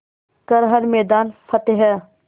कर हर मैदान फ़तेह